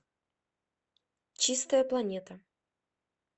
чистая планета